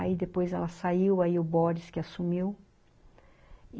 Aí depois ela saiu, aí o Boris que assumiu.